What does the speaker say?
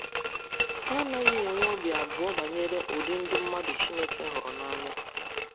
Ha anaghị enwe obi abụọ banyere ụdị ndị mmadụ Chineke hụrụ n’anya.